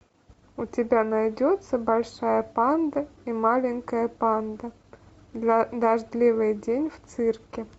у тебя найдется большая панда и маленькая панда дождливый день в цирке